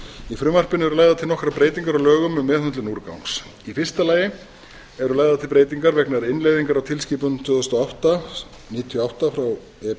í frumvarpinu eru lagðar til nokkrar breytingar á lögum um meðhöndlun úrgangs í fyrsta lagi eru lagðar til breytingar vegna innleiðingar á tilskipun tvö þúsund og átta níutíu og átta e